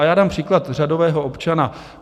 A já dám příklad řadového občana.